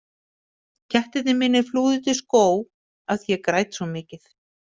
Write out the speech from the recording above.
Kettirnir mínir flúðu út í skóg af því að ég græt svo mikið.